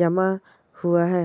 जमा हुआ है।